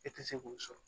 E tɛ se k'o sɔrɔ